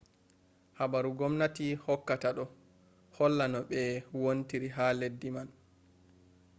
habaru gomnati hokkata ɗo holla no ɓe wontiri ha leddi man